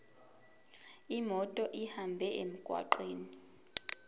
imoto ihambe emgwaqweni